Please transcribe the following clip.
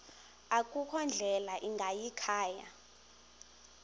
akukho ndlela ingayikhaya